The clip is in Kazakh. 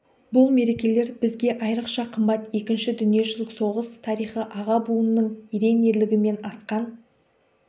бұл мерекелер бізге айрықша қымбат екінші дүниежүзілік соғыс тарихы аға буынның ерен ерлігі мен асқан